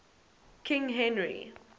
king henry